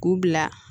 K'u bila